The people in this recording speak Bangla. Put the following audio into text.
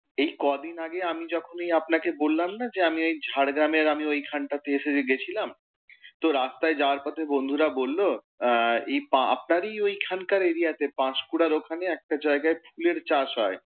এই কদিন আগে আমি যখন এই আপনাকে বললাম না, যে আমি ওই ঝাড়গ্রামের আমি ওই খানটাতে এসে যে গেছিলাম। তো রাস্তায় যাওয়ার পথে বন্ধুরা বলল, আহ এই আপনারই ওই খানকার area তে পাশকুঁড়ার ওখানে একটা জায়গায় ফুলের চাষ হয়।